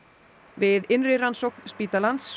við innri rannsókn spítalans